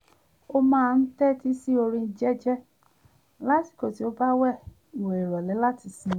ó máa ń tẹ́tí sí orin jẹ́jẹ́ lásìkò tí ó bá ń wẹ ìwẹ̀ ìrọ̀lé láti sinmi